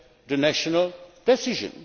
embed the national decision.